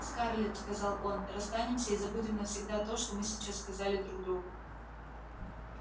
скарлетт сказал он расстанемся и забудем навсегда то что мы сейчас сказали друг другу